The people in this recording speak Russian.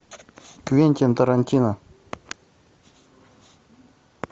квентин тарантино